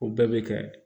O bɛɛ bɛ kɛ